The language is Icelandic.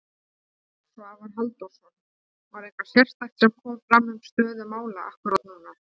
Svavar Halldórsson: Var eitthvað sérstakt sem kom fram um stöðu mála akkúrat núna?